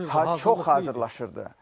Hə çox hazırlanırdı.